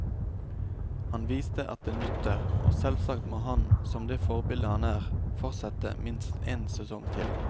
Han viste at det nytter, og selvsagt må han, som det forbilde han er, fortsette minst en sesong til.